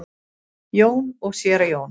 Jón og séra Jón